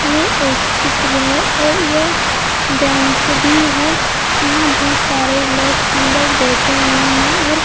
ये एक चित्र है और ये बैंक भी है यहाँ बहुत सारे लोग अंदर बैठे हुए हैं और--